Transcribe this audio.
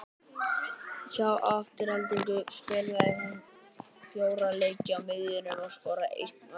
Hjá Aftureldingu spilaði hún fjóra leiki á miðjunni og skoraði eitt mark.